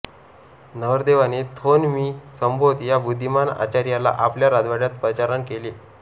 नरदेवाने थोन मि संभोत या बुद्धीमान आचार्याला आपल्या राजवाड्यात पाचारण केले